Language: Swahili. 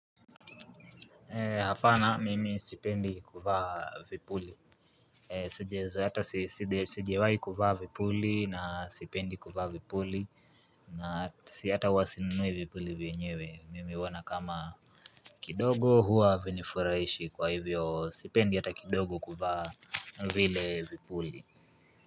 Eeh hapana mimi sipendi kuvaa vipuli eeh sijazoea hata si sijawai kuvaa vipuli na sipendi kuvaa vipuli na si hata huwa sinunui vipuli vyenyewe mimi huona kama kidogo huwa havinifuraishi kwa hivyo sipendi hata kidogo kuvaa vile vipuli.